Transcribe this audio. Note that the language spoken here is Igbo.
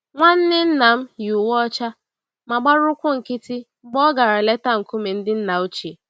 Nwanne nnam yi uwe ọcha ma gbara ụkwụ nkịtị mgbe ọ gara leta nkume ndị nna ochie